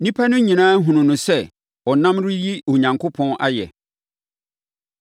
Nnipa no nyinaa hunuu no sɛ ɔnam reyi Onyankopɔn ayɛ.